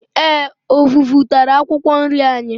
Eé, ọvụvụ tara akwụkwọ nri anyị.